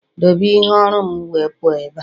Doobe ihe oru'm wee puo ebe a!